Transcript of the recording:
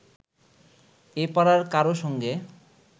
এ পাড়ার কারও সঙ্গে